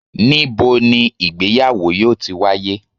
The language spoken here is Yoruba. nibo ni ìgbéyàwò yoo ti waye?